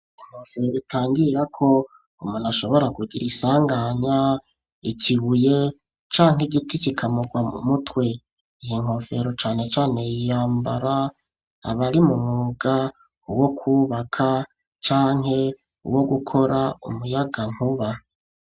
Inkofero, itangira ko, umuntu ashobora kugira isanganya, ikibuye canke igiti, kikamugwa mu mutwe; iyi nkofero, cane cane yambara, abari mu mwuga, wo kwubaka, canke wo gukora, umuyagankuba.